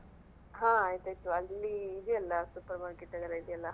ಹಾ ಆಯ್ತಾಯ್ತು ಅಲ್ಲಿ ಇದೆಯಲ್ಲಾ Supermarket ಎಲ್ಲಾ ಇದೆಯಲ್ಲಾ.